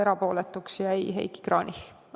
Erapooletuks jäi Heiki Kranich.